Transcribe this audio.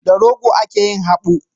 Da rogo ake yin habu.